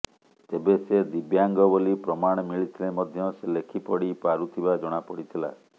ତେବେ ସେ ଦିବ୍ୟାଙ୍ଗ ବୋଲି ପ୍ରମାଣ ମିଳିଥିଲେ ମଧ୍ୟ ସେ ଲେଖି ପଢ଼ି ପାରୁଥିବା ଜଣାପଡ଼ିଥିିଲା